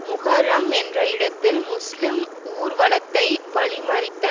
முஹரம் என்ற இடத்தில் முஸ்லிம் ஊர்வலத்தை வழிமறித்தனர்